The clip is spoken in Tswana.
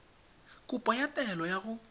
kopo ya taelo ya go